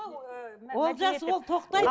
олжас ол тоқтайды